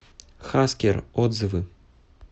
хаскер отзывы